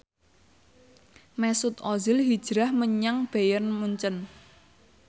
Mesut Ozil hijrah menyang Bayern Munchen